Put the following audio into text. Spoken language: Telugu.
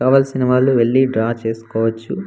కావాల్సిన వాళ్లు వెళ్లి డ్రా చేస్కోవచ్చు.